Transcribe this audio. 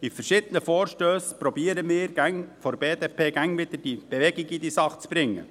Mit verschiedenen Vorstössen versuchen wir von der BDP immer wieder, Bewegung in diese Sache zu bringen.